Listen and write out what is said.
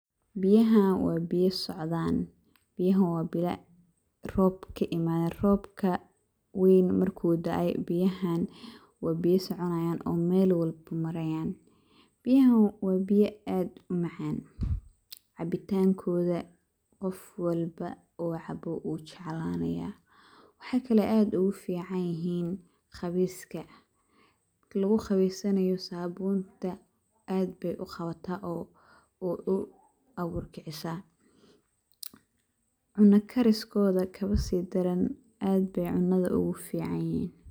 Biyahaan waa biya socdaan, biyahaan waa biyaa roob kaa imadeen robkaa weyn marku daay biyahaan waa biya soconayaan oo mel walboo marayaan. biyahaan waa biiya aad uu macaan cabitaankoda qof walboo oo caabo wuu jeclanayaa waxey kaalo aad ogu ficaan yihiin qaweyskaa markaa laguu qabeysanaayo sabuntaa aad beey uu qawaata oo oo uu abuur kiciisa. cunaa kariis kooda kabaa sii daraan aad bey cunaada ogu ficaan yihiin.